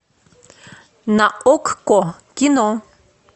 на окко кино